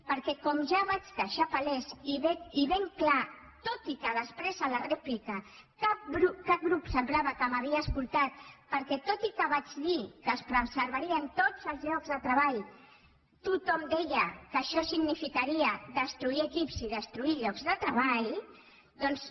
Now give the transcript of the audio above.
perquè com ja vaig deixar palès i ben clar tot i que després a la rèplica cap grup semblava que m’hagués escoltat perquè tot i que vaig dir que es preservarien tots els llocs de treball tothom deia que això significaria destruir equips i destruir llocs de treball doncs